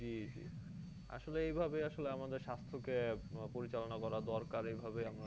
জ্বি জ্বি আসলে এইভাবে আসলে আমাদের স্বাস্থ্য কে উম পরিচালনা করা দরকার এইভাবে আমাদের